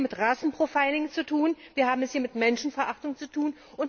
Wir haben es hier mit Rassen Profiling zu tun, wir haben es hier mit Menschenverachtung zu tun.